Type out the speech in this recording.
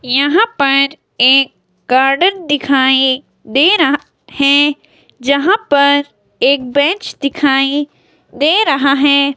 यहां पर एक गार्डन दिखाई दे रहा है जहां पर एक बेंच दिखाई दे रहा है।